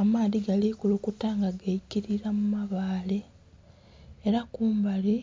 Amaadhi gali kulukuta nga gaikilila mu mabaale era kumbali